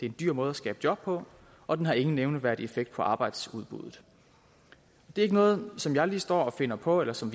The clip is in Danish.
en dyr måde at skabe job på og den har ingen nævneværdig effekt på arbejdsudbuddet det er ikke noget som jeg lige står og finder på eller som